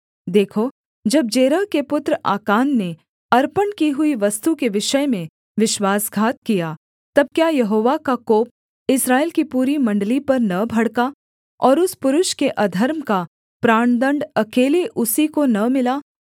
देखो जब जेरह के पुत्र आकान ने अर्पण की हुई वस्तु के विषय में विश्वासघात किया तब क्या यहोवा का कोप इस्राएल की पूरी मण्डली पर न भड़का और उस पुरुष के अधर्म का प्राणदण्ड अकेले उसी को न मिला